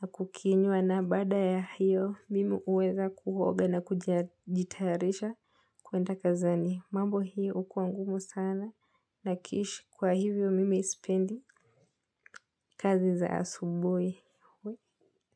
na kukinywa na baada ya hiyo. Mimi huweza kuoga na kujitayarisha kuenda kazini. Mambo hiyo hukua ngumu sana na kishi kwa hivyo mimi sipendi kazi za asubuhi.